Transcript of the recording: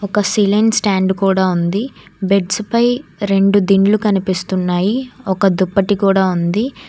ఒక ceiling stand కూడా ఉంది బెడ్స్ పై రెండు దిండ్లు కనిపిస్తున్నాయి ఒక దుప్పటి కూడా ఉంది.